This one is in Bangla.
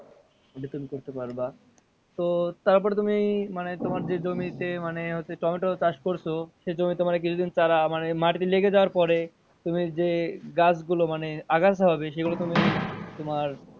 ওটা তুমি করতে পারবা তো তারপর তুমি মানে তোমার যে জমি তে মানে যে টমেটো চাষ করছো সে জমি তে কিছুদিন তারা মানে মাটিতে লেগে যাওয়ার পরে তুমি যে গাছ গুলো মানে সেগুলো তুমি তোমার,